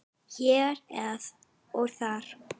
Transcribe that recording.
Hér og þar.